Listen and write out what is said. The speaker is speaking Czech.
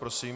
Prosím.